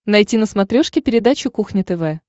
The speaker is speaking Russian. найти на смотрешке передачу кухня тв